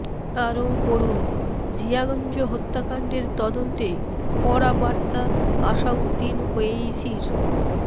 আরও পড়ুন জিয়াগঞ্জ হত্যাকাণ্ডের তদন্তে কড়া বার্তা আসাউদ্দিন ওয়েইসির